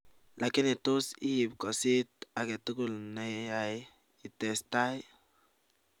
lakini tuus iip kosit agetul neai itestai